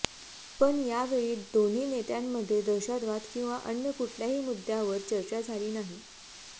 पण यावेळी दोन्ही नेत्यांमध्ये दहशतवाद किंवा अन्य कुठल्याही मुद्यावर चर्चा झाली नाही